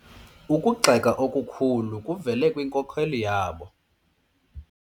Ukugxeka okukhulu kuvele kwinkokeli yabo.